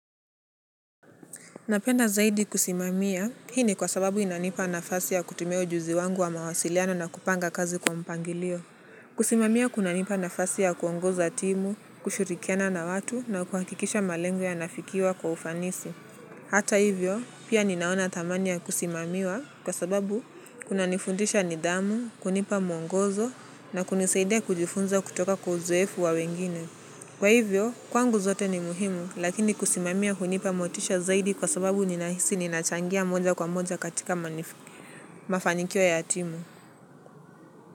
Napenda zaidi kusimamia, hii ni kwa sababu inanipa nafasi ya kutumia ujuzi wangu wa mawasiliano na kupanga kazi kwa mpangilio. Kusimamia kunanipa nafasi ya kuongoza timu, kushirikiana na watu na kuhakikisha malengo yanafikiwa kwa ufanisi. Hata hivyo, pia ninaona thamani ya kusimamiwa kwa sababu kunanifundisha nidhamu, kunipa mwongozo na kunisaidia kujifunza kutoka kwa uzoefu wa wengine. Kwa hivyo, kwangu zote ni muhimu, lakini kusimamia hunipa motisha zaidi kwa sababu ninahisi ninachangia moja kwa moja katika mafanikio ya timu.